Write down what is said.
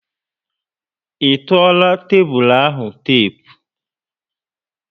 I tuola tébulu ahụ tepu?